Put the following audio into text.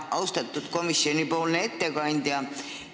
Austatud komisjoni ettekandja!